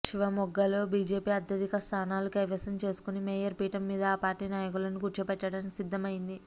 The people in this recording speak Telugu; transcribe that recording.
శివమొగ్గలో బీజేపీ అత్యధిక స్థానాలు కైవసం చేసుకుని మేయర్ పీఠం మీద ఆ పార్టీ నాయకులను కుర్చోపెట్టడానికి సిద్దం అయ్యింది